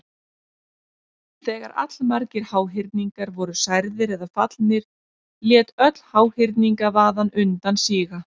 Þegar allmargir háhyrningar voru særðir eða fallnir lét öll háhyrningavaðan undan síga.